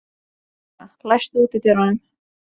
Lúsía, læstu útidyrunum.